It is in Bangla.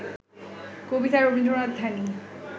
কবিতায় রবীন্দ্রনাথ ধ্যানী